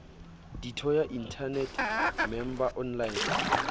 ditho ya inthanete member online